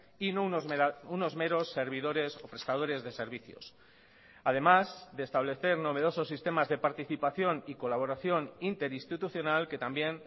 y no unos meros servidores o prestadores de servicios además de establecer novedosos sistemas de participación y colaboración interinstitucional que también